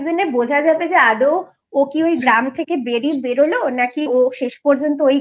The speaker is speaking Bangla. বোঝা যাবে যে আদৌ ও কি ওই গ্রাম থেকে বেরোলো নাকি শেষ পর্যন্ত